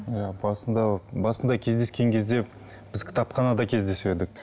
иә басында басында кездескен кезде біз кітапханада кездесіп едік